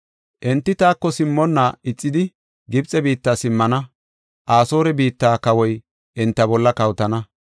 Enti taako simmonna ixidi Gibxe biitta simmana; Asoore biitta kawoy enta bolla kawotana.